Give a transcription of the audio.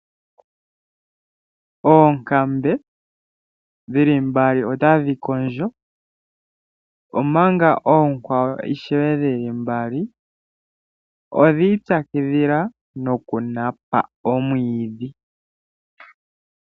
Oonkambe dhi li mbali otadhi kondjo, omanga oonkwawo ishewe dhi li mbali odhi ipyakidhila nokunapa omwiidhi.